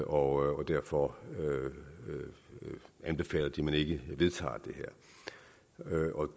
og derfor anbefaler de at man ikke vedtager